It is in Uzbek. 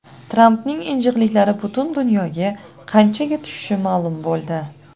Trampning injiqliklari butun dunyoga qanchaga tushishi ma’lum bo‘ldi.